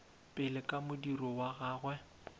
pele ka modiro wa gagwe